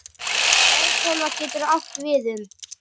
Örtölva getur átt við um